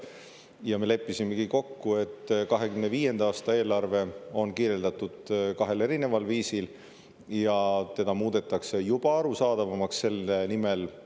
Ja me leppisimegi kokku, et 2025. aasta eelarve on kirjeldatud kahel erineval viisil, ja seda muudetakse juba arusaadavamaks selle nimel.